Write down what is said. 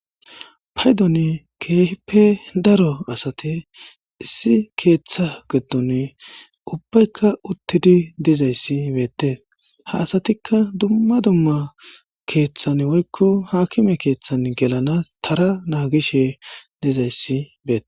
Paydon kehipe daro asati issi ketha gidon ubayka utidi dizays betes ha asatika dumma dumma kethan woyko hakime kethan gelan tara nagishe dizays betes